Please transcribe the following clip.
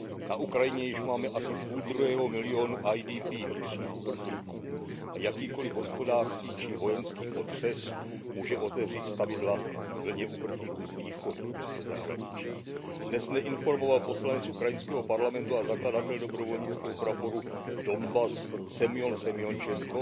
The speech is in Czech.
Na Ukrajině již máme asi půldruhého milionu IDP, vnitřních uprchlíků, a jakýkoliv hospodářský či vojenský otřes může otevřít stavidla vlně uprchlíků z východu do zahraničí. Dnes mne informoval poslanec ukrajinského parlamentu a zakladatel dobrovolnického praporu Donbas Semjon Semjončenko,